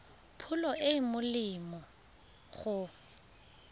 pholo e e molemo go